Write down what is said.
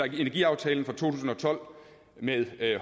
energiaftalen fra to tusind og tolv med